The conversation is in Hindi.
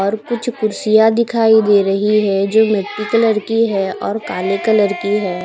और कुछ कुर्सियां दिखाई दे रही है जो मिट्टी कलर की है और काले कलर की है।